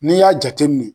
N'i y'a jateminɛ